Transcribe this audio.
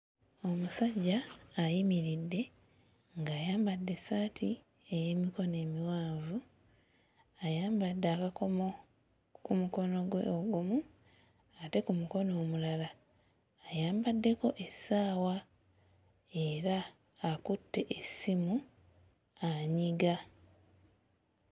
Omusajja ayimiridde ng'ayambadde essaati ey'emikono emiwanvu, ayambadde akakomo ku mukono gwe ogumu, ate ku mukono omulala ayambaddeko essaawa era akutte essimu anyiga.